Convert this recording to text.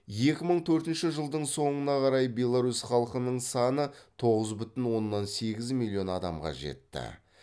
екі мың төртінші жылдың соңына қарай беларусь халқының саны тоғыз бүтін оннан сегіз миллион адамға жетті